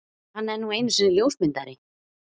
Hann er nú einu sinni ljósmyndari.